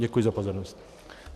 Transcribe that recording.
Děkuji za pozornost.